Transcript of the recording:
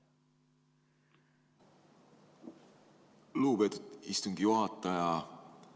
Lugupeetud istungi juhataja!